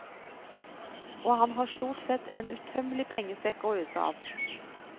Og han har stort sett en utømmelig pengesekk å øse av.